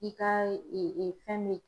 I ka fɛn mɛ